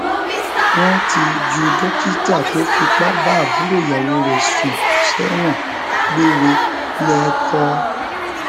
wọn ti ju dókítà tó fipá bá àbúrò ìyàwó rẹ sùn sẹwọn gbére lẹkọọ